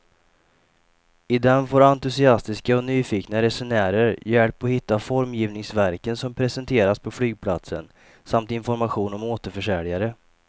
I den får entusiastiska och nyfikna resenärer hjälp att hitta formgivningsverken som presenteras på flygplatsen samt information om återförsäljare.